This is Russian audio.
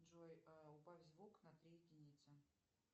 джой убавь звук на три единицы